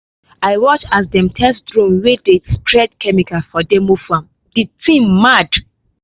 i watch as dem test drone wey dey spray chemical for demo farm the thing mad!